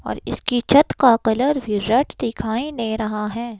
और इसकी छत का कलर भी रेड दिखाई ने रहा है।